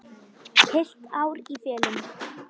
Heilt ár í felum.